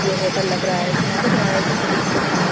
ये होटल लग रहा है किनारे-किनारे छोटे-छोटे प्लांट्स --